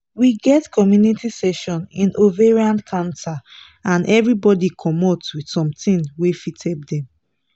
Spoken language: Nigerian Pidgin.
we get community session in ovarian cancer and everybody commot with something wey fit help dem